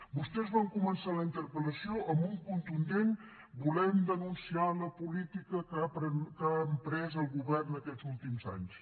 vostès van començar la interpel·lació amb un contundent volem denunciar la política que ha emprès el govern aquests últims anys